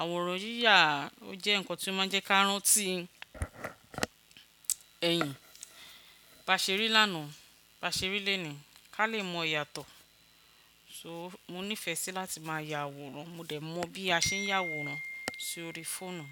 Àwòrán yíyà o jẹ́ nǹkan tí ó má ń jẹ́ káàárán tí ẹ̀yìn. Ba ṣe rí lánàá, ba ṣe rí lónìí, ká lè mọ ìyàtọ̀. So mo nífẹ̀ẹ́ sí láti máa ya àwòrán. Mo dẹ̀ mọ bí a ṣe ń yàwòrán sórí fóònù.